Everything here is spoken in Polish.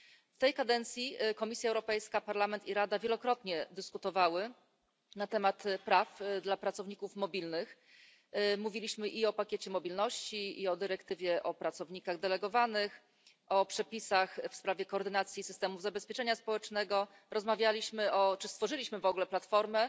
W tej kadencji Komisja Europejska, Parlament i Rada wielokrotnie dyskutowały na temat praw dla pracowników mobilnych. Mówiliśmy i o pakiecie mobilności, i o dyrektywie o pracownikach delegowanych, o przepisach w sprawie koordynacji systemów zabezpieczenia społecznego, rozmawialiśmy, a nawet stworzyliśmy platformę